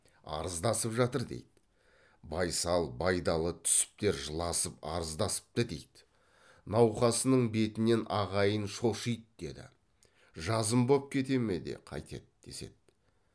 арыздасып жатыр дейді байсал байдалы түсіптер жыласып арыздасыпты дейді науқасының бетінен ағайын шошиды деді жазым боп кете ме де қайтеді деседі